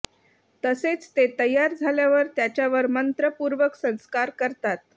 तसेच ते तयार झाल्यावर त्याच्यावर मंत्रपूर्वक संस्कार करतात